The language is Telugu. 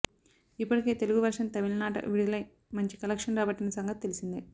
ఇప్పటికే తెలుగు వర్షన్ తమిళనాట విడుదలై మంచి కలెక్షన్స్ రాబట్టిన సంగతి తెల్సిందే